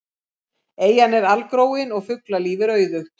Eyjan er algróin og fuglalíf er auðugt.